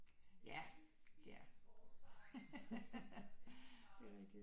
Ja ja det er rigtigt